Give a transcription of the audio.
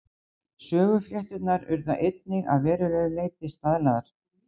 Söguflétturnar urðu einnig að verulegu leyti staðlaðar.